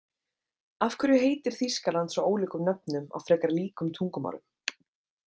Af hverju heitir Þýskaland svo ólíkum nöfnum á frekar líkum tungumálum?